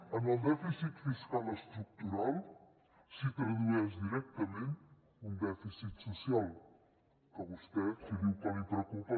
en el dèficit fiscal estructural s’hi tradueix directament un dèficit social que vostè si diu que li preocupa